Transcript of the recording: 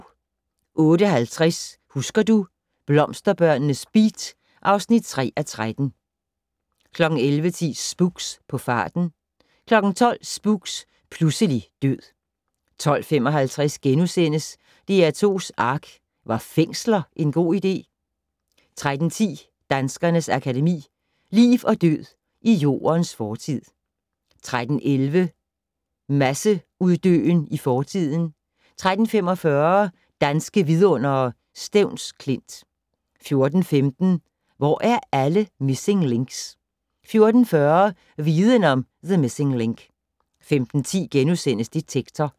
08:50: Husker du - Blomsterbørnenes beat (3:13) 11:10: Spooks: På farten 12:00: Spooks: Pludselig død 12:55: DR2's ARK - Var fængsler en god idé? * 13:10: Danskernes Akademi: Liv og død i Jordens fortid 13:11: Masseuddøen i fortiden 13:45: Danske Vidundere: Stevns Klint 14:15: Hvor er alle missing links? 14:40: Viden om: The missing link 15:10: Detektor *